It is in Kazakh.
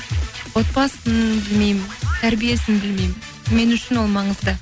отбасын білмеймін тәрбиесін білмеймін мен үшін ол маңызды